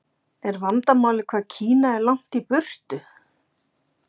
Er vandamálið hvað Kína er langt í burtu?